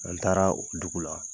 An taara dugu la.